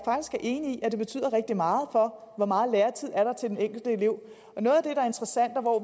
enig i at det betyder rigtig meget for hvor meget lærertid der er til den enkelte elev